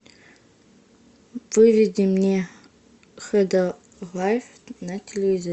выведи мне хд лайф на телевизоре